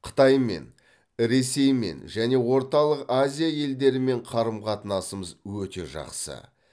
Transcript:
қытаймен ресеймен және орталық азия елдерімен қарым қатынасымыз өте жақсы